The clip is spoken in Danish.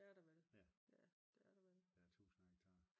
Ja det er der vel. Det er der vel